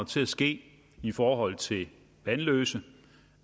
til at ske i forhold til vanløse